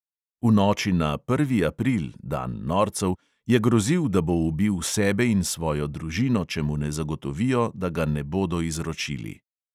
V noči na prvi april, dan norcev, je grozil, da bo ubil sebe in svojo družino, če mu ne zagotovijo, da ga ne bodo izročili.